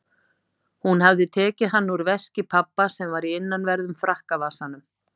Hún hafði tekið hann úr veski pabba sem var í innanverðum frakkavasanum.